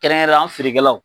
Kɛrɛnkɛrɛrɛn, an feerekɛlaw.